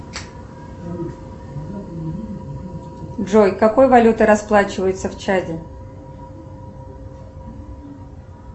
джой какой валютой расплачиваются в чаде